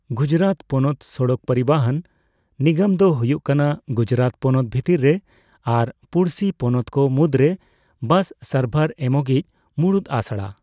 ᱜᱩᱡᱨᱟᱛ ᱯᱚᱱᱚᱛ ᱥᱚᱲᱚᱠ ᱯᱚᱨᱤᱵᱚᱦᱚᱱ ᱱᱤᱜᱚᱢ ᱫᱚ ᱦᱩᱭᱩᱜ ᱠᱟᱱᱟ ᱜᱩᱡᱨᱟᱛ ᱯᱚᱱᱚᱛ ᱵᱷᱤᱛᱤᱨ ᱨᱮ ᱟᱨ ᱯᱚᱲᱥᱤ ᱯᱚᱱᱚᱛᱠᱚ ᱢᱩᱫᱨᱮ ᱵᱟᱥ ᱥᱟᱨᱵᱷᱟᱨ ᱮᱢᱚᱜᱤᱡ ᱢᱩᱲᱩᱫ ᱟᱥᱲᱟ ᱾